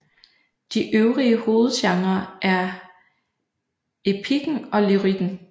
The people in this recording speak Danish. De øvrige hovedgenrer er epikken og lyrikken